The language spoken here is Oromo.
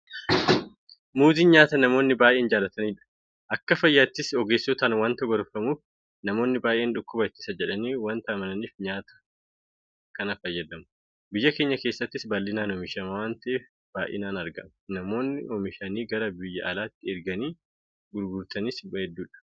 Muuziin nyaata namoonni baay'een jaalatanidha. Akka fayyaattis ogeessotaan waanta gorfamuuf namoonni baay'een dhukkuba ittisa jedhanii waanta amananiif nyaata kana fayyadamu. Biyya keenya keessattis bal'inaan oomishama waanta ta'eef baay'inaan argama. Namoonni oomishanii gara biyya alaatti erganii gurguratanis hedduudha.